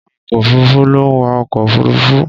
Awakọ̀ òfuruufú ló ń wa ọkọ̀ òfuruufú.